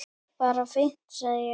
Bara fínt sagði ég.